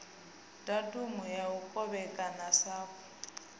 datumu ya u kovhekanya sapu